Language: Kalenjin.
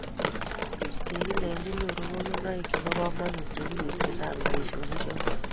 kikilenji nyoru konunoek chebo kamanut ye wirji sang' boisionichoto